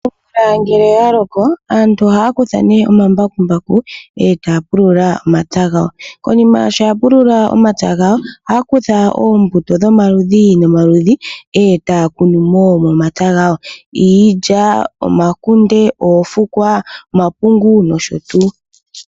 Omvula ngele oyaloko aantu ohaya kutha nee omambakumbaku etaya pulula omatsa gawo. Konima sho ya pulula omatsa gawo ohaya kutha oombuto dho maludhi nomaludhi etaya kunumo momapya gawo iilya, omakunde, oofukwa, omapungu nosho tuu.